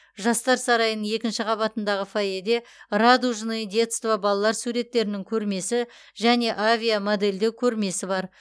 жастар сарайының екінші қабатындағы фойеде радужное детство балалар суреттерінің көрмесі және авиамодельдеу көрмесі бар